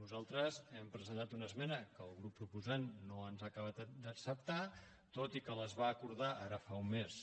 nosaltres hem presentat una esmena que el grup proposant no ens ha acabat d’acceptar tot i que les va acordar ara fa un mes